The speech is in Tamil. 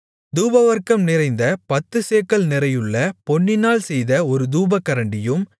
தூபவர்க்கம் நிறைந்த பத்துச்சேக்கல் நிறையுள்ள பொன்னினால் செய்த ஒரு தூபகரண்டியும்